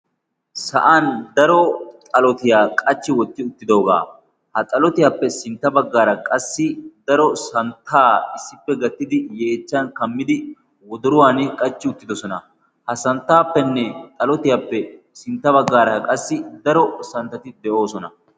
sa'an daro xalotiyaa qachchi wotti uttidoogaa. ha xalotiyaappe sintta baggaara qassi daro santtaa issippe gattidi yeechchan kammidi woduruwan qachchi uttidosona. ha santtaappenne xalotiyaappe sintta baggaara qassi daro santtati de'oosona.